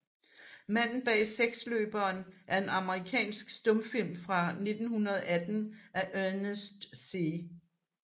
Manden bag seksløberen er en amerikansk stumfilm fra 1918 af Ernest C